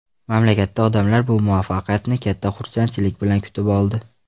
Mamlakatda odamlar bu muvaffaqiyatni katta xursandchilik bilan kutib oldi.